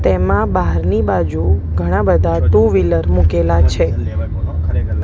તેમા બાહરની બાજુ ઘણા બધા ટુ વ્હીલર મૂકેલા છે.